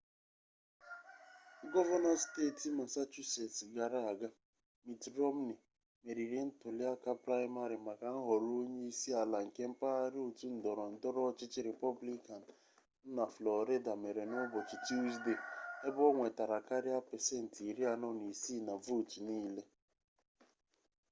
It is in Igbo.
gọvanọ steeti masachusets gara aga mitt romney meriri ntuliaka praịmarị maka nhọrọ onye isi ala nke mpaghara otu ndọrọ ndọrọ ọchịchị rịpọblikan nọ na flọrida mere n'ụbọchị tusdee ebe o nwetara karịa pasent 46 na vootu niile